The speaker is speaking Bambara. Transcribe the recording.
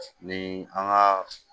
Ni an ga